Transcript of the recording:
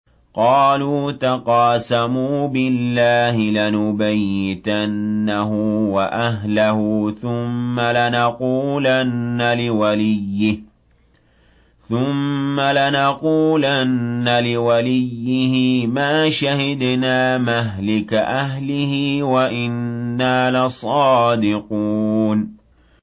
قَالُوا تَقَاسَمُوا بِاللَّهِ لَنُبَيِّتَنَّهُ وَأَهْلَهُ ثُمَّ لَنَقُولَنَّ لِوَلِيِّهِ مَا شَهِدْنَا مَهْلِكَ أَهْلِهِ وَإِنَّا لَصَادِقُونَ